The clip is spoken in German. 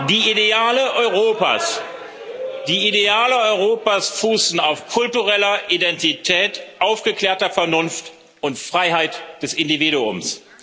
Die Ideale Europas fußen auf kultureller Identität, aufgeklärter Vernunft und Freiheit des Individuums.